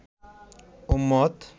উম্মত